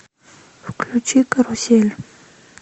включи карусель